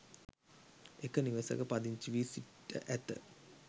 එක නිවසක පදිංචි වී සිට ඇත.